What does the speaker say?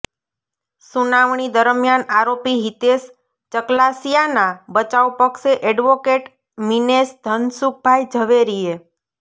સુનાવણી દરમિયાન આરોપી હિતેશ ચકલાસીયાના બચાવપક્ષે એડવોકેટ મિનેશ ધનસુખ ભાઈ ઝવેરીએ